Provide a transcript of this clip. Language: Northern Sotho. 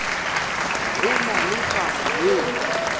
go na le taba yeo